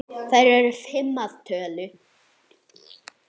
Þær eru fimm að tölu.